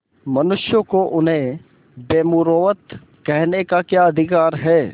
मनुष्यों को उन्हें बेमुरौवत कहने का क्या अधिकार है